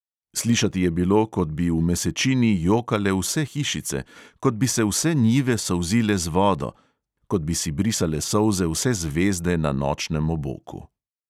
Slišati je bilo, kot bi v mesečini jokale vse hišice, kot bi se vse njive solzile z vodo, kot bi si brisale solze vse zvezde na nočnem oboku.